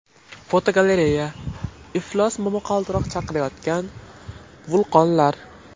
Fotogalereya: Iflos momaqaldiroq chaqirayotgan vulqonlar.